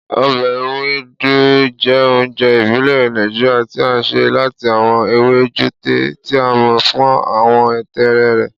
Ọbẹ Ewedu jẹ ounjẹ ibile Naijiria ti a ṣe lati awọn ewe jute, ti a mọ fun awọ tẹẹrẹ rẹ.